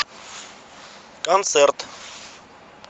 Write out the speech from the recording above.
концерт